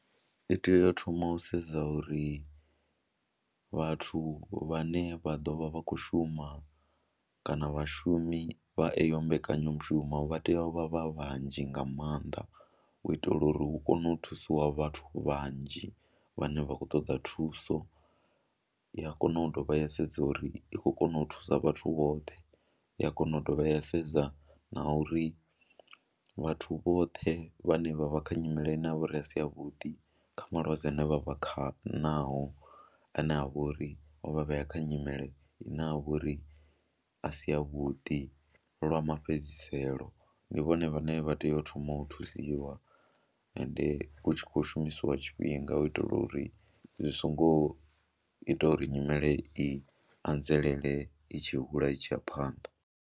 I tea u thoma u sedza uri vhathu vhane vha ḓo vha vha khou shuma kana vhashumi vha eyo mbekanyamushumo vha tea u vha vha vhanzhi nga maanḓa u itela uri hu kone u thusiwa vhathu vhanzhi vhane vha khou ṱoḓa thuso. Ya kona u dovha ya sedza uri i khou kona u thusa vhathu woṱhe, ya kona u dovha ya sedza na uri vhathu vhoṱhe vhane vha vha kha nyimele ine ya vha uri a si yavhuḓi kha malwadze ane vha vha kha naho ane a vha uri o vha vhea kha nyimele ine ya vha uri a si yavhuḓi lwa mafhedziselo, ndi vhone vhane vha tea u thoma u thusiwa ende hu tshi khou shumisiwa tshifhinga u itela uri zwi songo ita uri nyimele i anzelele i tshi hula i tshi ya phanḓa.